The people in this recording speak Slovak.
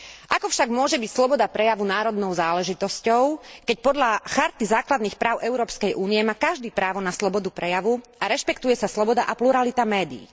Ako však môže byť sloboda prejavu národnou záležitosťou, keď podľa Charty základných práv Európskej únie má každý právo na slobodu prejavu a rešpektuje sa sloboda a pluralita médií.